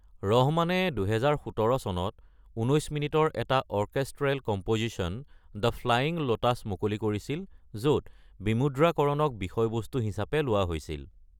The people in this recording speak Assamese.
ৰহমানে ২০১৭ চনত ১৯ মিনিটৰ এটা orchestral composition ‘The Flying Lotus’ মুকলি কৰিছিল, য'ত বিমুদ্ৰাকৰণক বিষয়বস্তু হিচাপে লোৱা হৈছিল।